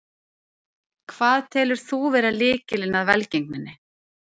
Hvað telur þú vera lykilinn að velgengninni?